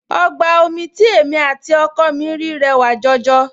Ọgbà omi tí èmi àti ọkọ mi rí rẹwà jọjọ